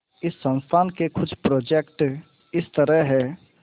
इस संस्थान के कुछ प्रोजेक्ट इस तरह हैंः